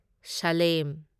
slam